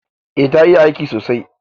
Eh ta iya aiki sosai.